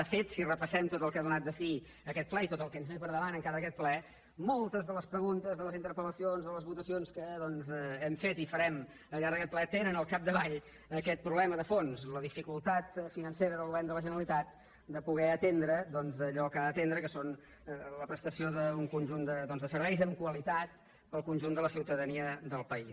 de fet si repassem tot el que ha donat de si aquest ple i tot el que ens ve per davant de tot aquest ple moltes de les preguntes de les interpelhem fet i farem al llarg d’aquest ple tenen al capdavall aquest problema de fons la dificultat financera del govern de la generalitat de poder atendre allò que ha d’atendre que és la prestació d’un conjunt de serveis amb qualitat per al conjunt de la ciutadania del país